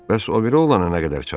Bəs o biri oğlana nə qədər çatdı?